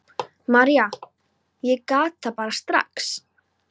María: Ég gat það bara strax.